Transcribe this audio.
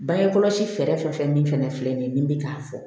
Bange kɔlɔsi fɛɛrɛ fɛn fɛn min fana filɛ nin ye nin bi k'a fɔ